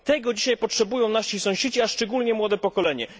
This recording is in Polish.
Tego dzisiaj potrzebują nasi sąsiedzi, a szczególnie młode pokolenie.